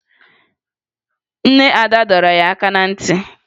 Nne Ada dọrọ ya aka na ntị